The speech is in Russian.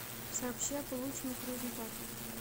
сообщи о полученных результатах